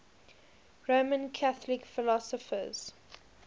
roman catholic philosophers